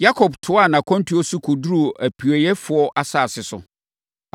Yakob toaa nʼakwantuo so kɔduruu apueeɛfoɔ asase so.